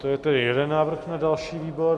To je tedy jeden návrh na další výbor.